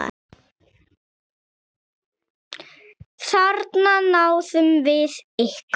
Þarna náðum við ykkur!